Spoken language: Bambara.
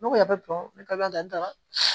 Ne ko a bɛ bɔn ne ka da la